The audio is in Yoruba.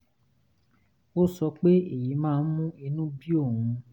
ó sọ pé èyí máa ń mú inú bí òun